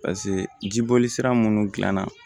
jiboli sira munnu dilanna